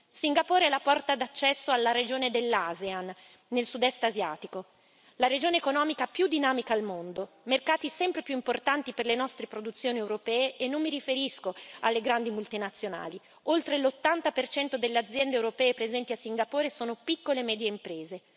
Singapore è la porta d'accesso alla regione dell'ASEAN, nel sud est asiatico, la regione economica più dinamica al mondo mercati sempre più importanti per le nostre produzioni europee e non mi riferisco alle grandi multinazionali oltre l'80 delle aziende europee presenti a Singapore sono piccole e medie imprese.